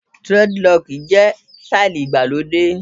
Durediloki jẹ́ sítáílì igbà lóde.